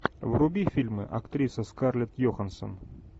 вруби фильмы актриса скарлетт йоханссон